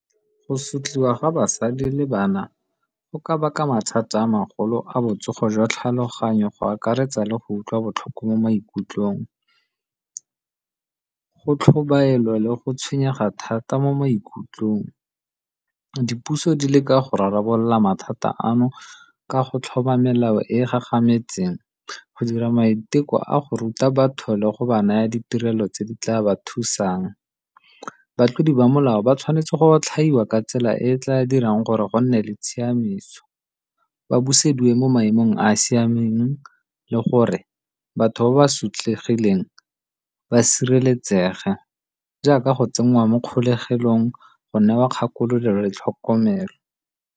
Go sotliwa ga basadi le bana go ka baka mathata a magolo a botsogo jwa tlhaloganyo go akaretsa le go utlwa botlhoko mo maikutlong, go tlhobaela le go tshwenyega thata mo maikutlong. Dipuso di le ka go rarabolola mathata ano ka go tlhoma melao e e gagametseng go dira maiteko a go ruta batho le go ba naya ditirelo tse di tla ba thusang. Batlodi ba molao ba tshwanetse go otlhaiwa ka tsela e e tla dirang gore go nne le tshiamiso ba busediweng mo maemong a a siameng le gore batho ba ba sotlegileng ba sireletsege jaaka go tsenngwa mo kgolegelong go newa kgakololo le tlhokomelo.